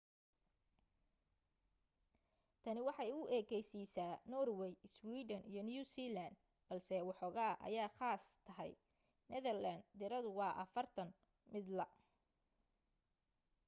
tani waxaa u ekaysiisya norway, iswiidhan iyo new zealand balse woxogaa aya khaas tahay netherland tiradu waa afartan midla